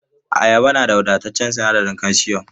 Ayaba na da wadataccen sinadarin kalshiyom.